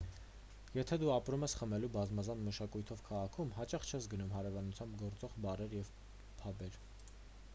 եթե դու ապրում ես խմելու բազմազան մշակույթով քաղաքում հաճախ չես գնում հարևանությամբ գործող բարեր և փաբեր